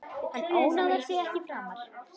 Hann ónáðar þig ekki framar.